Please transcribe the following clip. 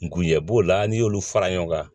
Nguyɛ b'o la n'i y'olu fara ɲɔgɔn kan